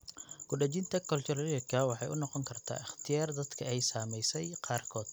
Ku dhejinta cochlearka waxay u noqon kartaa ikhtiyaar dadka ay saameysay qaarkood.